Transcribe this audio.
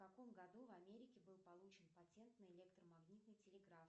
в каком году в америке был получен патент на электромагнитный телеграф